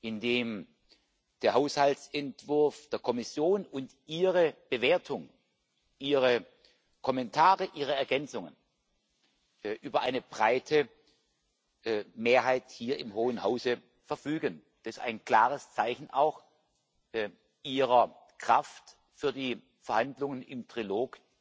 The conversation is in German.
Indem der Haushaltsentwurf der Kommission und Ihre Bewertung, Ihre Kommentare, Ihre Ergänzungen über eine breite Mehrheit hier im Hohen Hause verfügen, ist das auch ein klares Zeichen Ihrer Kraft für die Verhandlungen in Trilog.